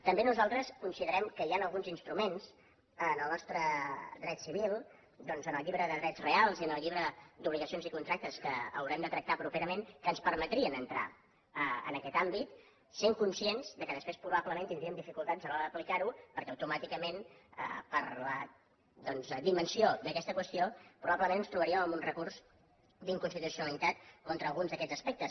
també nosaltres considerem que hi han alguns instruments en el nostre dret civil doncs en el llibre de drets reals i en el llibre d’obligacions i contractes que haurem de tractar properament que ens permetrien entrar en aquest àmbit sent conscients que després probablement tindríem dificultats a l’hora d’aplicar ho perquè automàticament doncs per la dimensió d’aquesta qüestió probablement ens trobaríem amb un recurs d’inconstitucionalitat contra alguns d’aquests aspectes